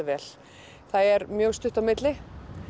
vel það er mjög stutt á milli